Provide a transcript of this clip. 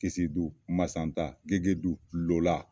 Kisidu masa tan gegedu lola